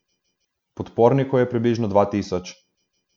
Podpornikov je približno dva tisoč.